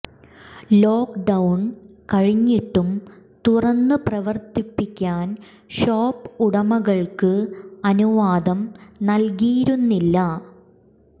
lock down കഴിഞ്ഞിട്ടും തുറന്നു പ്രവർത്തിപ്പിക്കാൻ ഷോപ്പ് ഉടമകൾക്ക് അനുവാദം നൽകിയിരുന്നില്ല